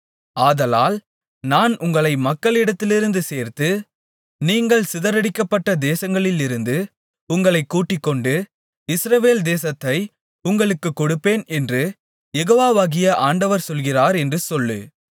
ஆதலால் நான் உங்களை மக்களிடத்திலிருந்து சேர்த்து நீங்கள் சிதறடிக்கப்பட்ட தேசங்களிலிருந்து உங்களைக் கூட்டிக்கொண்டு இஸ்ரவேல் தேசத்தை உங்களுக்குக் கொடுப்பேன் என்று யெகோவாகிய ஆண்டவர் சொல்லுகிறார் என்று சொல்லு